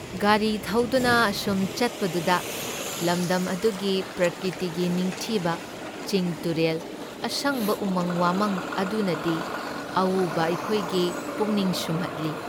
ꯒꯥꯔꯤ ꯊꯧꯗꯨꯅ ꯑꯁꯨꯝ ꯆꯠꯄꯗꯨꯗ ꯂꯝꯗꯝ ꯑꯗꯨꯒꯤ ꯄ꯭ꯔꯀ꯭ꯔꯤꯇꯤꯒꯤ ꯅꯤꯡꯊꯤꯕ ꯆꯤꯡ ꯇꯨꯔꯦꯜ, ꯑꯁꯪꯕ ꯎꯃꯪ ꯋꯥꯃꯪ ꯑꯗꯨꯅꯗꯤ ꯑꯎꯕ ꯑꯩꯈꯣꯏꯒꯤ ꯄꯨꯛꯅꯤꯡ ꯁꯨꯝꯍꯠꯂꯤ ꯫